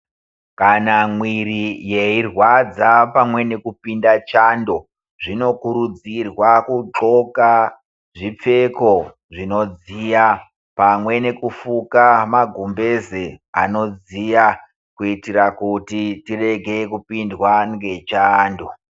Kana mwiri yeirwadza pamwe nekupinda chando, zvinokurudzirwa kudxoka zvipfeko zvinodziya ,pamwe nekufuka magumbeze anodziya kuitira kuti tirege kupindwa ngechando